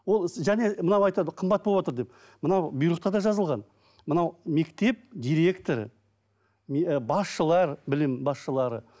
ол іс және мынау айтады қымбат болыватыр деп мынау бұйрықта да жазылған мынау мектеп директоры ы басшылар білім басшылары